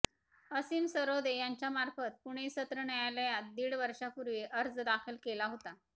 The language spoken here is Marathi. असीम सरोदे यांच्यामार्फत पुणे सत्र न्यायालयात दीड वर्षापूर्वी अर्ज दाखल केला होता